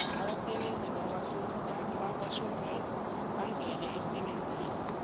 abasebenzi bakwashoprite bangale umsebenzi